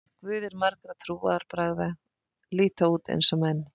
Guðir margra trúarbragða líta út eins og menn.